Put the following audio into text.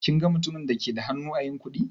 Kin ga mutumin da ke da hannu ã yin kuɗi?